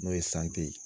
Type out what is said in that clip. N'o ye ye